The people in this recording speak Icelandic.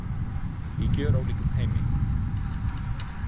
Í gjörólíkum heimi.